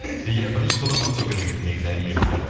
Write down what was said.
иә бірінші содан бастау керек еді негізі әңгімемізді